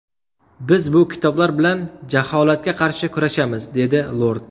Biz bu kitoblar bilan jaholatga qarshi kurashamiz”, dedi lord.